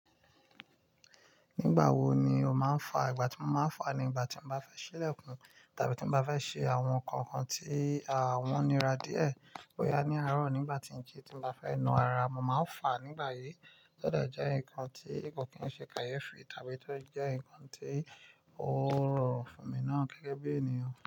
Nígbà wo ni o máa ń fà? Ìgbà tí mo máa ń fà ni ìgbà tí n bá fẹ́ ṣílẹ̀kùn tàbí tí n bá fẹ́ ṣe àwọn ǹnkan kan tí wọ́n nira díẹ̀. Boyá ní àárọ̀ nígbà tí nji tí mo bá fẹ́ na ara, mo máa ń fà nígbà yí. To de jẹ́ ǹnkan tí ko kì í ṣe kàyéfì tàbí tó jẹ́ ǹnkan tí ó rọrùn fún mi náà gẹ́gẹ́ bí ènìyàn.